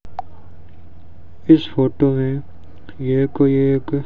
इस फोटो में यह कोई एक--